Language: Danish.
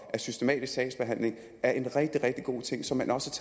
at systematisk sagsbehandling er en rigtig rigtig god ting som man også